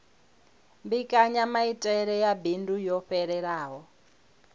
mbekanyamaitele ya bindu yo fhelelaho